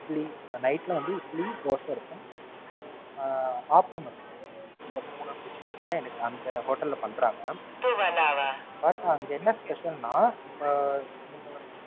Idli Night ஆ இட்லி தோசை இருக்கும் ஆ ஆ ஆப்பம்இருக்கும். இந்த மூணு Dish மட்டும் தான் அந்த Hotel ல்ல பண்றாங்க. But அங்க என்ன Special னா